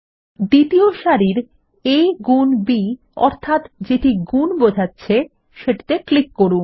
দ্বিতীয় সারির a গুন b অর্থাত যেটি গুন বোঝাচ্ছে সেটিতে ক্লিক করুন